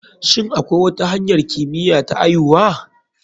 Shin akwi wata hanyar kimiya ta aihuwa?